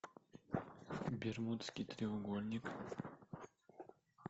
бермудский треугольник